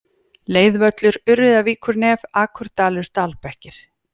Leiðvöllur, Urriðavíkurnef, Akurdalur, Dalbekkir